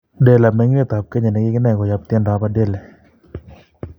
Dela, meng'indet ab Kenya nekikinai koyab tyendo ab Adele